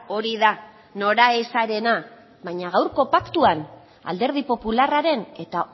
hori da noraezarena baina gaurko paktuan alderdi popularraren eta